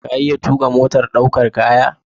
Ka iya tuƙa motar ɗaukar kaya?